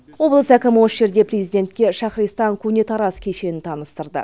облыс әкімі осы жерде президентке шахристан көне тараз кешенін таныстырды